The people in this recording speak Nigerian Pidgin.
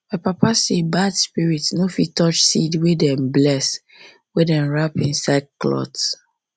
my papa sad bad spirit ni fit touch sed wey dey blessed wey dem wrap inside clothe